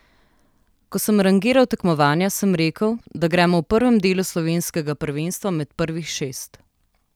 Ko sem rangiral tekmovanja, sem rekel, da gremo v prvem delu slovenskega prvenstva med prvih šest.